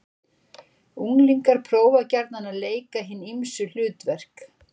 Unglingar prófa gjarnan að leika hin ýmsu hlutverk.